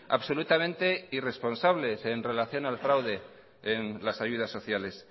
absolutamente irresponsables en relación al fraude en las ayudas sociales